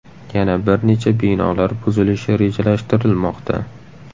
Yana bir necha binolar buzilishi rejalashtirilmoqda.